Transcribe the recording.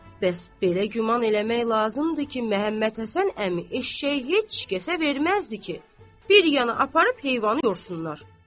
Bəs belə güman eləmək lazımdır ki, Məhəmməd Həsən əmi eşşəyi heç kəsə verməzdi ki, bir yana aparıb heyvanı yorsunlar.